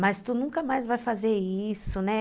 Mas tu nunca mais vai fazer isso, né?